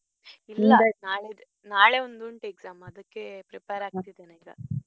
ನಾಳೆ ಇದೆ ನಾಳೆ ಒಂದು ಉಂಟು exam ಅದಕ್ಕೆ prepare ಆಗ್ತಾ ಇದ್ದೇನೆ ಈಗ.